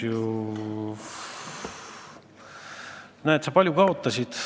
Näed sa, palju kaotasid.